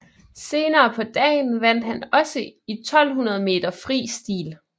Senere på dagen vandt han også i 1200 meter fri stil